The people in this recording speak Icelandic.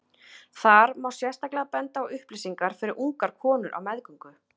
Þar má sérstaklega benda á upplýsingar fyrir ungar konur á meðgöngu.